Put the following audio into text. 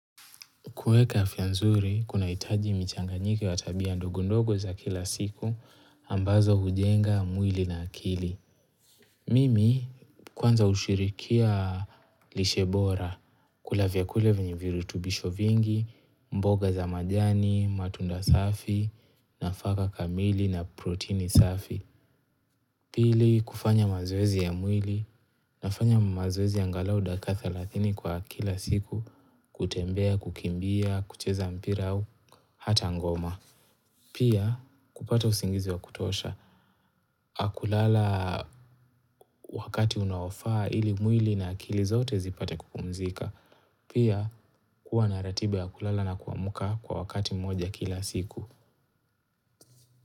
Kuweka afya nzuri, kunahitaji michanganyiko wa tabia ndogondogo za kila siku, ambazo hujenga mwili na akili. Mimi, kwanza hushirikia lishe bora, kula vyakule venye virutubisho vingi, mboga za majani, matunda safi, nafaka kamili na protini safi. Pili kufanya mazoezi ya mwili nafanya mazoezi angalau dakika thelathini kwa kila siku, kutembea, kukimbia, kucheza mpira au, hata ngoma. Pia kupata usingizi wa kutosha, kulala wakati unaofaa ili mwili na akili zote zipate kupumzika. Pia kuwa na ratiba ya kulala na kuamka kwa wakati mmoja kila siku.